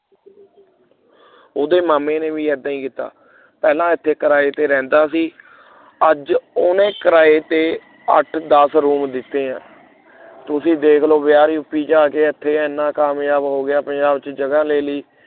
ਉਹਦੇ ਮਾਮੇ ਨੇ ਵੀ ਏਦਾਂ ਹੀ ਕੀਤਾ ਪਹਿਲਾਂ ਇਥੇ ਕਿਰਾਏ ਤੇ ਰਹਿੰਦਾ ਸੀ ਅੱਜ ਉਹਨੇ ਕਿਰਾਏ ਤੇ ਅੱਠ ਦੱਸ room ਦਿੱਤੇ ਹੈ। ਤੁਸੀ ਦੇਖ ਲਉ ਬਿਹਾਰੀ ਯੂਪੀ ਤੋਂ ਆ ਕੇ ਏਥੇ ਇਹਨੇ ਕਾਮਯਾਬ ਹੋ ਗਿਆ ਪੰਜਾਬ ਦੀ ਜਗ੍ਹਾ ਲੈ ਲਈ।